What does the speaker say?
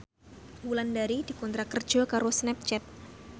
Wulandari dikontrak kerja karo Snapchat